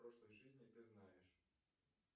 прошлой жизни ты знаешь